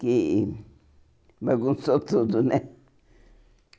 Que bagunçou tudo, né?